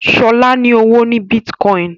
Shola ní ọwọ ní Bitcoin.